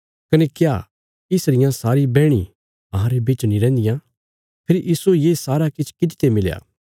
कने क्या इस रियां सारी बैहणीं अहांरे बिच नीं रैहन्दियां फेरी इस्सो ये सारा किछ किति ते मिलया